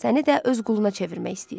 Səni də öz quluna çevirmək istəyir.